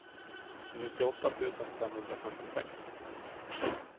nittioåtta tusen femhundrafemtiosex